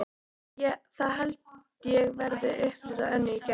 Það held ég verði upplit á Önnu í Gerði.